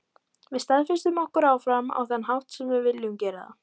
Við staðfestum okkur áfram, á þann hátt sem við vildum gera það.